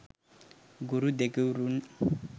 ගුරු දෙගුරුන්